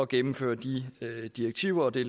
gennemføre de direktiver og det